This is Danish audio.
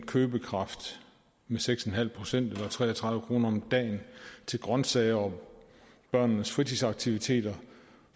købekraften med seks en halv procent eller tre og tredive kroner om dagen til grønsager og børnenes fritidsaktiviteter